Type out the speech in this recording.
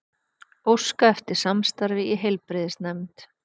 Óska eftir samstarfi í heilbrigðisnefnd